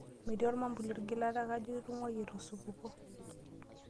Metii ormwambuli orkigilata kajo itung'wayie te osupuko.